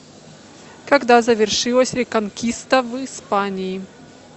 когда завершилась реконкиста в испании